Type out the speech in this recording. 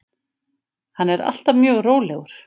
Hann er alltaf mjög rólegur.